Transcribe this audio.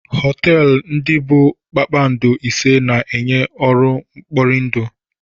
Họtelụ ndị bụ kpakpando ise na-enye ọrụ mkpọrindụ.